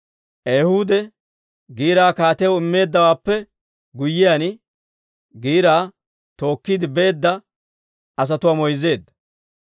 Ehuudi giiraa kaatiyaw immeeddawaappe guyyiyaan, giiraa tookkiide beedda asatuwaa moyzzeedda.